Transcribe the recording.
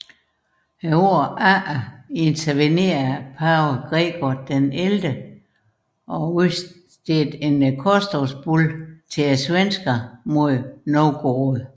Det følgende år intervenerede pave Gregor XI og udstedte en korstogsbulle til svenskerne mod Novgorod